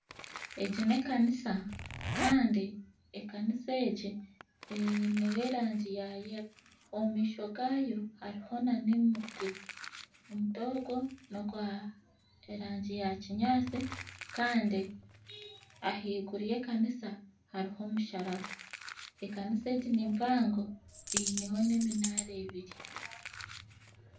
Egi n'ekanisa kandi ekanisa egi eineho rangi ya yero. Omumaisho gaayo hariyo n'omuti. Omuti ogwo n'ogw'erangi ya kinyaasi kandi ahaiguru y'ekanisa hariyo omusharaba. Ekanisa egi ni mpango eineho n'eminaara ebiri.